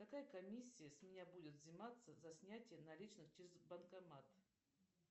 какая комиссия с меня будет взиматься за снятие наличных через банкомат